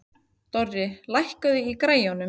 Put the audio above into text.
Dorri, lækkaðu í græjunum.